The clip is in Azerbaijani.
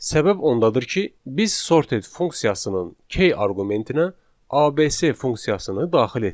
Səbəb ondadır ki, biz sorted funksiyasının K arqumentinə ABC funksiyasını daxil etdik.